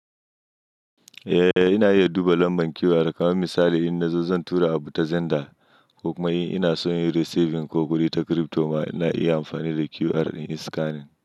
Eh, ina iya duba lambar QR kamar misali in na zo zan tura abu ta Zenda, ko kuma in ina so yin receiving ko kuɗi ta crypto ma ina iya amfani da QR in scan.